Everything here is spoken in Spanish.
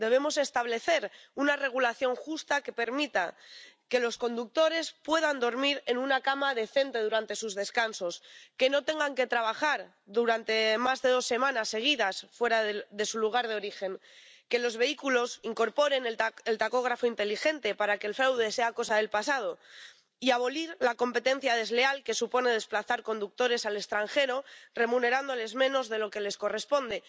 Debemos establecer una regulación justa que permita que los conductores puedan dormir en una cama decente durante sus descansos, que no tengan que trabajar durante más de dos semanas seguidas fuera de su lugar de origen, que los vehículos incorporen el tacógrafo inteligente para que el fraude sea cosa del pasado, y debemos abolir la competencia desleal que supone desplazar conductores al extranjero remunerándoles menos de lo que les corresponde.